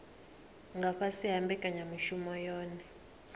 nga fhasi ha mbekanyamushumo yohe